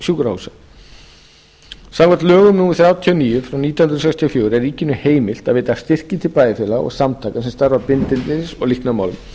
sjúkrahúsa samkvæmt lögum númer þrjátíu og níu nítján hundruð sextíu og fjögur er ríkinu heimilt að veita styrki til bæjarfélaga og samtaka sem starfa að bindindis og líknarmálum